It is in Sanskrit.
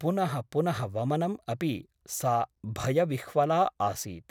पुनः पुनः वमनम् अपि सा भयविह्वला आसीत् ।